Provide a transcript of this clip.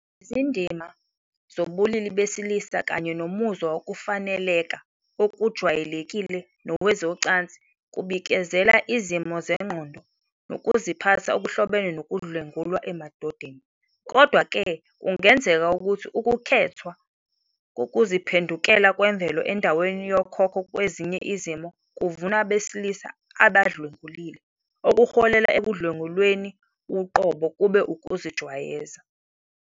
Izindima zobulili besilisa kanye nomuzwa wokufaneleka okujwayelekile nowezocansi kubikezela izimo zengqondo nokuziphatha okuhlobene nokudlwengulwa emadodeni. Kodwa-ke, kungenzeka ukuthi ukukhethwa kokuziphendukela kwemvelo endaweni yokhokho kwezinye izimo kuvuna abesilisa abadlwengulile, okuholele ekudlwengulweni uqobo kube ukuzijwayeza.